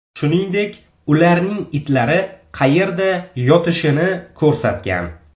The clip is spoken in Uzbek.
Shuningdek, ularning itlari qayerda yotishini ko‘rsatgan.